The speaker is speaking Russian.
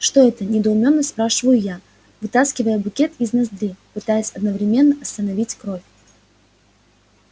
что это недоуменно спрашиваю я вытаскивая букет из ноздри пытаясь одновременно остановить кровь